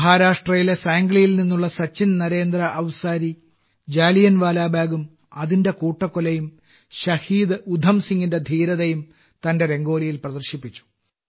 മഹാരാഷ്ട്രയിലെ സാംഗ്ലിയിൽ നിന്നുള്ള സച്ചിൻ നരേന്ദ്ര അവ്സാരി ജാലിയൻവാലാബാഗും അതിന്റെ കൂട്ടക്കൊലയും ശഹീദ് ഉധം സിങ്ങിന്റെ ധീരതയും തന്റെ രംഗോലിയിൽ പ്രദർശിപ്പിച്ചു